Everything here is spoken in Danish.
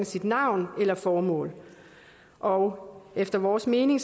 sit navn eller sit formål og efter vores mening